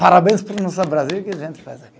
Parabéns para o nosso Brasil, que a gente faz aqui.